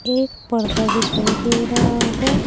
एक पर्दा दिखाई दे रहा है।